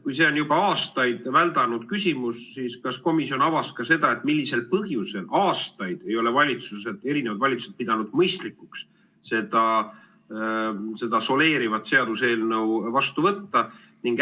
Kui see on juba aastaid väldanud küsimus, siis kas komisjonis avati ka seda, millisel põhjusel ei ole erinevad valitsused aastaid pidanud mõistlikuks seda soleerivat seaduseelnõu vastu võtta?